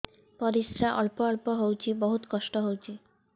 ପରିଶ୍ରା ଅଳ୍ପ ଅଳ୍ପ ହଉଚି ବହୁତ କଷ୍ଟ ହଉଚି